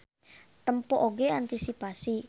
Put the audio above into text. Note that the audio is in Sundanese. Tempo oge antisipasi.